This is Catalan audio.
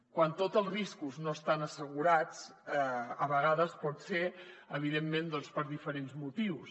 quan tots els riscos no estan assegurats a vegades pot ser evidentment per diferents motius